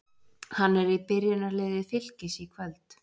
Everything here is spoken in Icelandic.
Hann er í byrjunarliði Fylkis í kvöld.